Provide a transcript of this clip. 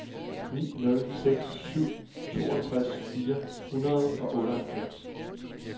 ni nul seks syv toogtres fire hundrede og otteoghalvfems